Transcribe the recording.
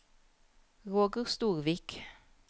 Roger Storvik